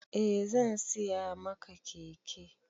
Eh zan siya maka keke